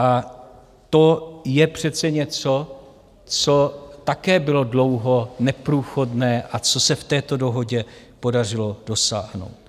A to je přece něco, co také bylo dlouho neprůchodné a co se v této dohodě podařilo dosáhnout.